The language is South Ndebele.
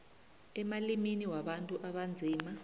emalimini wabantu abanzima